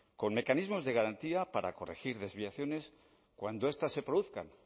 con mecanismos de garantía para corregir desviaciones cuando estas se produzcan